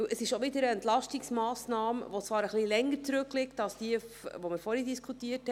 Es ist auch wieder eine Entlastungsmassnahme, die zwar etwas länger zurückliegt als jene, über die wir vorhin diskutiert haben.